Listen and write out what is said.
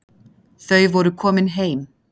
Þau voru komin heim.